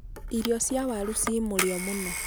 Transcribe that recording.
irio cia waaru ci mũrio mũno